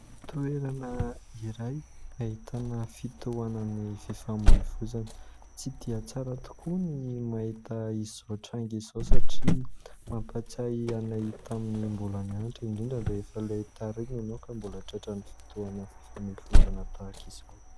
Toerana iray ahitana fitohana ny fifamohivozana. Tsy dia tsara tokoa ny mahita izao tranga izao, satria mampatsiahy anay tamin'ny mbola nianitra, indrindra rehefa ilay tara iny ianao ka mbola tratra ny fitohana ny fifamohivozana tahaka izao.